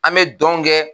An bɛ don kɛ